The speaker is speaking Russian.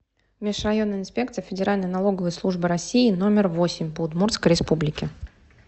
межрайонная инспекция федеральной налоговой службы россии номер восемь по удмуртской республике